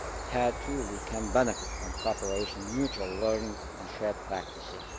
Here, too, we can benefit from cooperation, mutual learning and shared practices.